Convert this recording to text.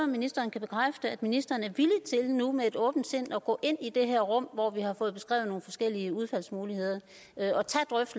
ministeren kan bekræfte at ministeren er villig til nu med et åbent sind at gå ind i det her rum hvor vi har fået beskrevet nogle forskellige udfaldsmuligheder